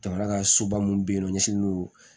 Jamana ka soba minnu bɛ yen nɔ ɲɛsinnen don